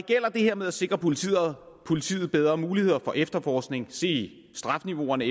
her med at sikre politiet politiet bedre muligheder for efterforskning se straffeniveauerne